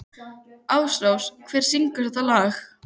Ásrós, hver syngur þetta lag?